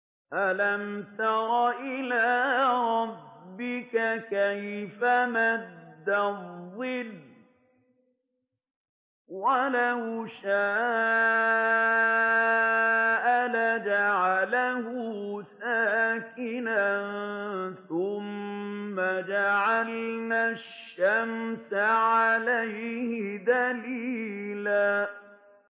أَلَمْ تَرَ إِلَىٰ رَبِّكَ كَيْفَ مَدَّ الظِّلَّ وَلَوْ شَاءَ لَجَعَلَهُ سَاكِنًا ثُمَّ جَعَلْنَا الشَّمْسَ عَلَيْهِ دَلِيلًا